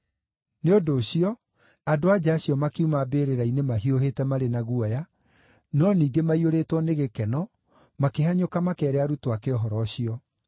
Nĩ ũndũ ũcio, andũ-a-nja acio makiuma mbĩrĩra-inĩ mahiũhĩte marĩ na guoya, no ningĩ maiyũrĩtwo nĩ gĩkeno, makĩhanyũka makeere arutwo ake ũhoro ũcio.